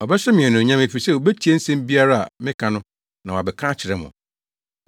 Ɔbɛhyɛ me anuonyam, efisɛ obetie asɛm biara a meka no na wabɛka akyerɛ mo.